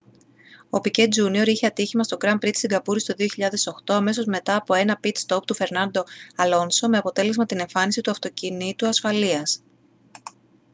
ο πικέ τζούνιορ είχε ατύχημα στο γκραν πρι της σιγκαπούρης το 2008 αμέσως μετά από ένα πιτ στοπ του φερνάντο αλόνσο με αποτέλεσμα την εμφάνιση του αυτοκινήτου ασφαλείας